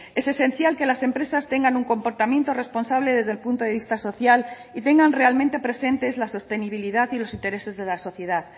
es esencial que las empresas tengan un comportamiento responsable desde el punto de vista social y tengan realmente presentes la sostenibilidad y los intereses de la sociedad